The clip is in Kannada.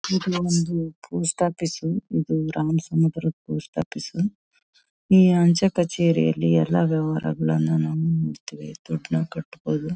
ಪೋಸ್ಟ್ ಆಫೀಸು ಇದು ರಾಮ್ ಸ್ವಾಮಿ ಬಾರೋ ಪೋಸ್ಟ್ ಆಫೀಸು . ಈ ಅಂಚೆ ಕಚೇರಿಯಲ್ಲಿ ಎಲ್ಲ ವ್ಯವಹಾರಗಳನ್ನ ನಾವ್ ಮಾಡ್ತೀವಿ. ದುಡ್ ನ ಕಟ್ಬೋದು.